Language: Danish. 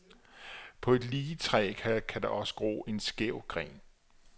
På et lige træ kan der også gro en skæv gren.